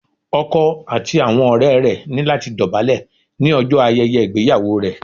Ọkọ àti àwọn ọ̀rẹ́ rẹ̀ ní láti dọ̀bálẹ̀ ní ọjọ́ ayẹyẹ ìgbéyàwó rẹ̀